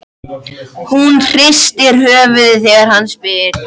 Ég þurfti bara að ná í einn þeirra.